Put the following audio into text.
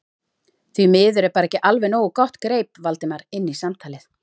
Því miður er bara ekki alveg nógu gott- greip Valdimar inn í samtalið.